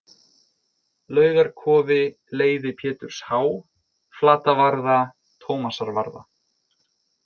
Laugarkofi, Leiði Péturs H., Flatavarða, Tómasarvarða